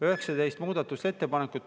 19 muudatusettepanekut.